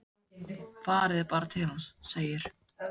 Farið þið bara til hans, segir